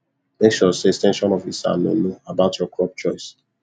make sure say ex ten sion officer know know about your crop choice